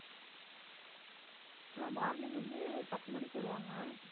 அஹ் morning வந்து பத்து மணிக்கு வருவாங்க.